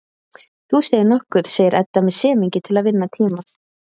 Þú segir nokkuð, segir Edda með semingi til að vinna tíma.